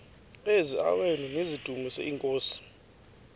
eziaweni nizidumis iinkosi